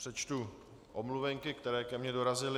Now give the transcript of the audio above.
Přečtu omluvenky, které ke mně dorazily.